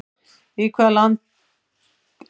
Í hvaða landi er Serengeti þjóðgarðurinn?